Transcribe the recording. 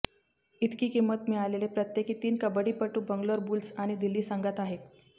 इतकी किंमत मिळालेले प्रत्येकी तीन कबड्डीपटू बंगलोर बुल्स आणि दिल्ली संघांत आहेत